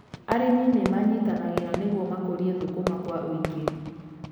Arĩmi nĩ manyitanagĩra nĩguo makũrie thũkũma kwa ũingĩ.